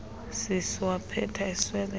sisu waphetha esweleka